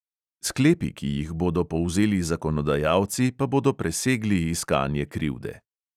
Sklepi, ki jih bodo povzeli zakonodajalci, pa bodo presegli iskanje krivde.